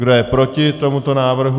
Kdo je proti tomuto návrhu?